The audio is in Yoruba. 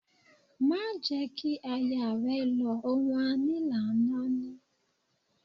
Máa jẹ̀ ẹ́ kí aya rẹ lọ, ohun a ní làá náání